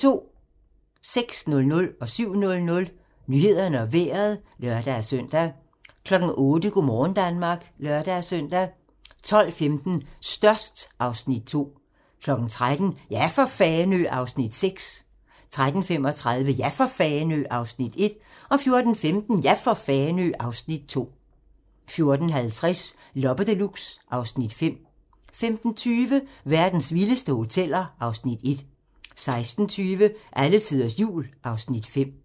06:00: Nyhederne og Vejret (lør-søn) 07:00: Nyhederne og Vejret (lør-søn) 08:00: Go' morgen Danmark (lør-søn) 12:15: Størst (Afs. 2) 13:00: Ja for Fanø! (Afs. 6) 13:35: Ja for Fanø! (Afs. 1) 14:15: Ja for Fanø! (Afs. 2) 14:50: Loppe Deluxe (Afs. 5) 15:20: Verdens vildeste hoteller (Afs. 1) 16:20: Alletiders Jul (Afs. 5)